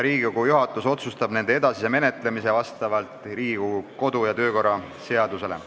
Juhatus otsustab nende edasise menetlemise vastavalt Riigikogu kodu- ja töökorra seadusele.